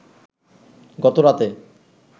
গত রাতে